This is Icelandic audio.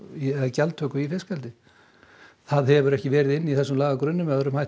eða gjaldtöku á fiskeldi það hefur ekki verið inni í þessu lagagrunni með öðrum hætti